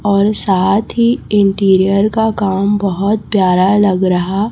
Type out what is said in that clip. और साथ ही इंटीरियर का काम बहोत प्यारा लग रहा--